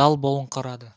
дал болыңқырады